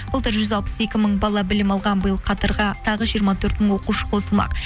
былтыр жүз алпыс екі мың бала білім алған биыл қатарға тағы жиырма төрт мың оқушы қосылмақ